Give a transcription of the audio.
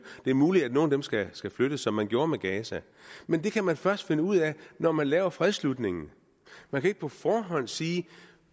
det er muligt at nogle skal skal flyttes som man gjorde med gaza men det kan man først finde ud af når man laver fredsslutningen man kan ikke på forhånd sige